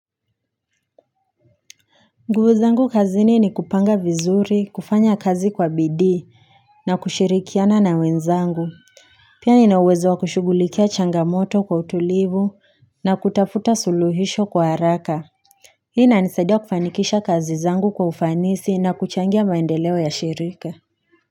Nguvu zangu kazini ni kupanga vizuri, kufanya kazi kwa bidii na kushirikiana na wenzangu Pia inawezo wa kushughulikia changamoto kwa utulivu na kutafuta suluhisho kwa haraka inanisaidia kufanikisha kazi zangu kwa ufanisi na kuchangia maendeleo ya shirika.